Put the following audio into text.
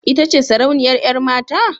Ita ce sarauniyar yar mata?